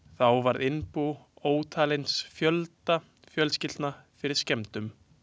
Þá varð innbú ótalins fjölda fjölskyldna fyrir skemmdum.